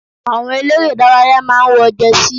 Àwọn eléré ìdárayá máa ń wọ Jẹsí.